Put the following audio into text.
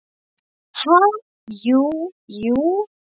Ha, jú, jú